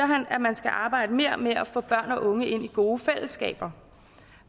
han at man skal arbejde mere med at få børn og unge ind i gode fællesskaber